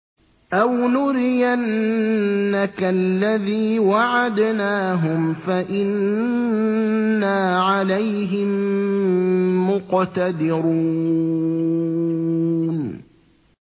أَوْ نُرِيَنَّكَ الَّذِي وَعَدْنَاهُمْ فَإِنَّا عَلَيْهِم مُّقْتَدِرُونَ